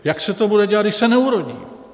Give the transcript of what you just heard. Jak se to bude dělat, když se neurodí?